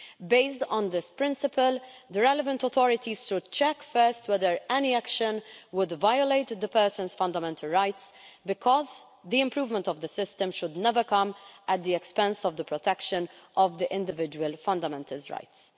Based on this principle, the relevant authorities should check first whether any action would violate the person's fundamental rights, because the improvement of the system should never come at the expense of the protection of the individual's fundamental rights.